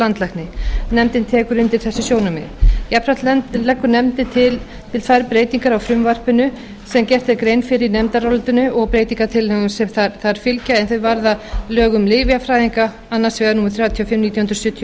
landlækni nefndin tekur undir þessi sjónarmið jafnframt leggur nefndin til tvær breytingar á frumvarpinu sem gerð er grein fyrir í nefndarálitinu og breytingartillögum sem þar fylgja en þau varða lög um lyfjafræðinga annars vegar númer þrjátíu og fimm nítján hundruð sjötíu og